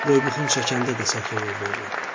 Boybuxun çəkəndə də səhvə yol verirəm.